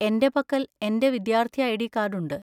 എന്റെ പക്കൽ എന്‍റെ വിദ്യാർത്ഥി ഐ.ഡി. കാർഡ് ഉണ്ട്.